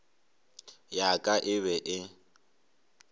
ya ka e be e